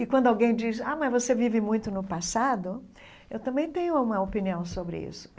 E quando alguém diz, ah, mas você vive muito no passado, eu também tenho uma opinião sobre isso.